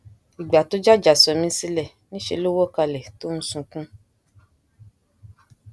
ìgbà tó jàjà sọ mí sílẹ níṣẹ ló wọ kalẹ tó ń sunkún